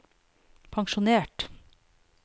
pensjonert